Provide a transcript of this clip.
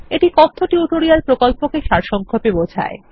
এটি কথ্য টিউটোরিয়াল প্রকল্পটিকে সারসংক্ষেপে বোঝায়